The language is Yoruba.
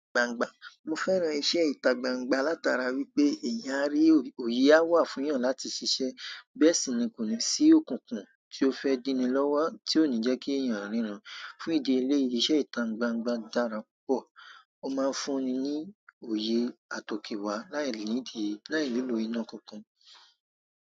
Gbangba, mo fẹ́ran iṣẹ́ ìta gbangba látara wípé ẹ̀yàn á rí òye á wà fún yàn láti ṣiṣẹ́. Bẹ́ẹ̀ sì ní kò ní sí òkùnkùn tí ó fẹ́ dínni lọ́wọ́ tí ó ní jẹ́kí ẹ̀yàn ríran. Fún ìdí eléyìí, iṣẹ́ ìta gbangba dára púpọ̀. O máa ń fúnni ní òye àtòkèwà láì nílò iná kankan.